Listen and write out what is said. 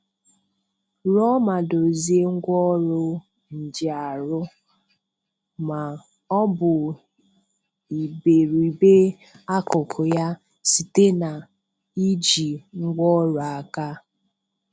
Rụọ ma dozie ngwaọrụ njìarụ, ma ọ bụ iberibe akụkụ ya, site n'iji ngwaọrụ aka.